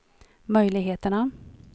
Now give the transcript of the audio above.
möjligheterna